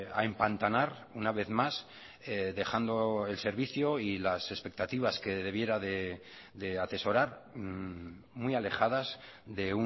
a empantanar una vez mas dejando el servicio y las expectativas que debiera de atesorar muy alejadas de